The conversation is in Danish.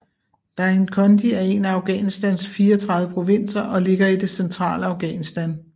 Dainkondi er en af Afghanistans 34 provinser og ligger i det centrale Afghanistan